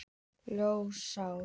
Lónsá